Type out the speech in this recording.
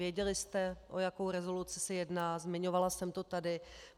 Věděli jste, o jakou rezoluci se jedná, zmiňovala jsem to tady.